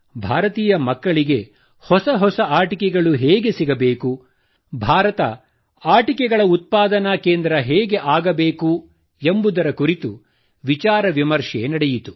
ಭಾರತೀಯ ಮಕ್ಕಳಿಗೆ ಹೊಸ ಹೊಸ ಆಟಿಕೆಗಳು ಹೇಗೆ ಸಿಗಬೇಕು ಭಾರತ ಆಟಿಕೆಗಳ ಉತ್ಪಾದನಾ ಕೇಂದ್ರ ಹೇಗೆ ಆಗಬೇಕು ಎಂಬುದರ ಕುರಿತು ವಿಚಾರ ವಿಮರ್ಶೆ ನಡೆಯಿತು